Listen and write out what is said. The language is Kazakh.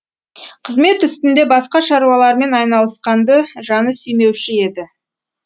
қызмет үстінде басқа шаруалармен айналысқанды жаны сүймеуші еді